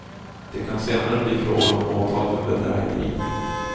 Det kan senare bli fråga om åtal för bedrägeri.